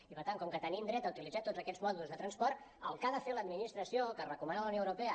i per tant com que tenim dret a utilitzar tots aquests modes de transport el que ha de fer l’administració que recomana la unió europea